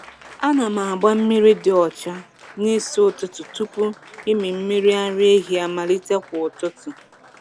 Ana m agba mmiri dị ọcha n’isi ụtụtụ tupu ịmị mmiri ara ehi amalite kwa ụtụtụ.